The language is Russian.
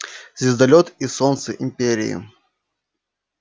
звездолёт и солнце империи